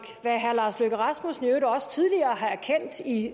hvad herre lars løkke rasmussen i øvrigt også tidligere har erkendt i